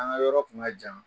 An ga yɔrɔ tun ka jan